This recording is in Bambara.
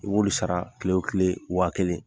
U b'olu sara kile o kile wa kelen